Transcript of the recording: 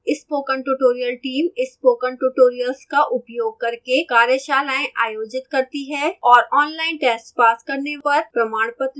spoken tutorial team spoken tutorials का उपयोग करके कार्यशालाएँ आयोजित करती है और ऑनलाइन टेस्ट पास करने पर प्रमाणपत्र देती है